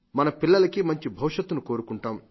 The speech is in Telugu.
మన పిల్లలకి మంచి భవిష్యత్తును కోరుకుంటాం